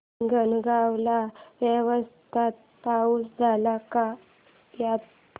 हिंगणगाव ला व्यवस्थित पाऊस झाला का यंदा